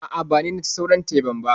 A'a, ba ni naci sauran teban ba.